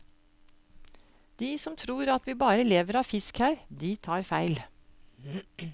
De som tror at vi bare lever av fisk her, de tar feil.